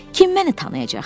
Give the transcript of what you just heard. Kim məni tanıyacaq hə?